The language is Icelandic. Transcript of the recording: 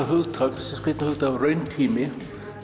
hugtak rauntími